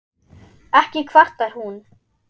Ekki kvartar hún